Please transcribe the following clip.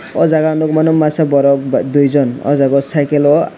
o jaga ang nogmano masa borok duijon o jaga cycle o.